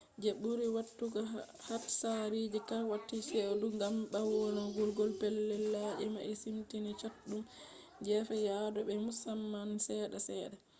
je buri watugo hatsariji wakkkati chedu gam bwarwugo pelllel labiji mai siminti chatudum gefe yadu be musamma sedda sedda